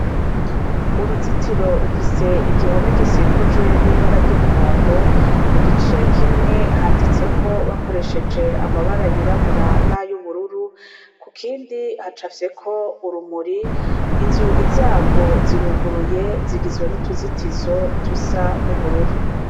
Uruzitiro rufise igihome gisikujwe n'ibara ry'umuhondo ku gice kimwe handitseko bakoresheje amabara yirabura n'ayo ubururu ku kindi hacafyeko urumuri inzugi zarwo ziruguruye zigizwe n'utuzitizo tusa n'ubururu.